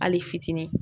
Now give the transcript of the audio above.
Hali fitinin